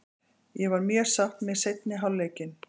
Ég var mjög sátt með seinni hálfleikinn.